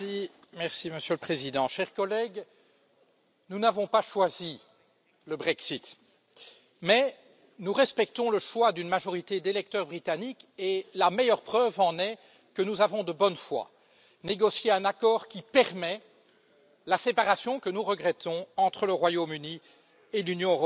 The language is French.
Monsieur le Président, chers collègues, nous n'avons pas choisi le Brexit, mais nous respectons le choix d'une majorité d'électeurs britanniques et la meilleure preuve en est que nous avons, de bonne foi, négocié un accord qui permet la séparation que nous regrettons entre le Royaume Uni et l'Union européenne.